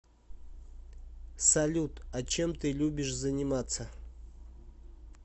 салют а чем ты любишь заниматься